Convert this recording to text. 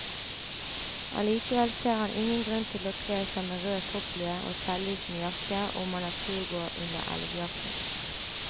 Allikevel ser han ingen grunn til å kle seg med rød topplue og selvlysende jakke om man er turgåer under elgjakten.